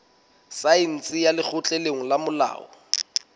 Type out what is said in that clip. saense ya lekgotleng la molao